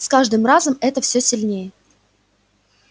с каждым разом это всё сильнее